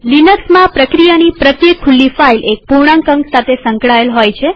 લિનક્સમાંપ્રક્રિયાની પ્રત્યેક ખુલ્લી ફાઈલ એક પૂર્ણાંક અંક સાથે સંકળાયેલ હોય છે